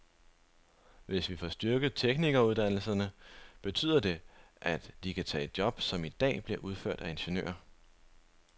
Hvis vi får styrket teknikeruddannelserne, betyder det, at de kan tage job, som i dag bliver udført af ingeniører.